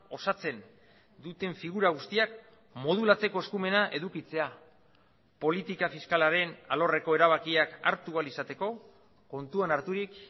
osatzen duten figura guztiak modulatzeko eskumena edukitzea politika fiskalaren alorreko erabakiak hartu ahal izateko kontuan harturik